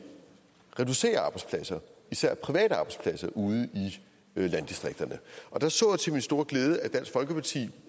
reducerer arbejdspladser især private arbejdspladser ude i landdistrikterne der så jeg til min store glæde at dansk folkeparti